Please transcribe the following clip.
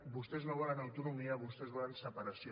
vostès no volen autonomia vostès volen separació